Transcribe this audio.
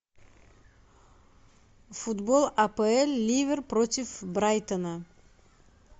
футбол апл ливер против брайтона